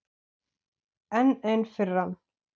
Enn ein firran.